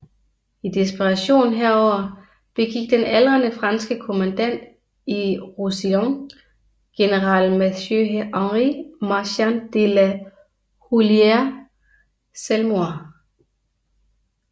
I desperation herover begik den aldrende franske kommandant i Roussillon general Mathieu Henri Marchant de la Houlière selvmord